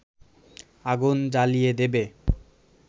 আগুন জ্বালিয়ে দেবে